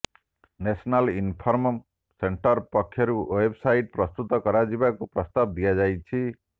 national inform centre ପକ୍ଷରୁ website ପ୍ରସ୍ତୁତ କରାଯିବାକୁ ପ୍ରସ୍ତାବ ଦିଆଯାଇଛି